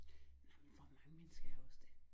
Nej men hvor mange mennesker er også det